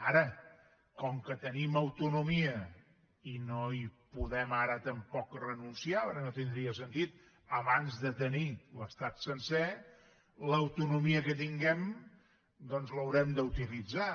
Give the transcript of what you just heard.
ara com que tenim autonomia i no hi podem ara tampoc renunciar perquè no tindria sentit abans de tenir l’estat sencer l’autonomia que tinguem doncs l’haurem d’utilitzar